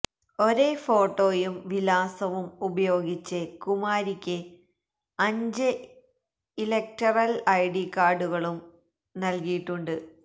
ഒരെ ഫോട്ടോയും വിലാസവും ഉപയോഗിച്ച് കുമാരിക്ക് അഞ്ച് ഇലക്ടറല് ഐഡി കാര്ഡുകളും നല്കിയിട്ടുണ്ട്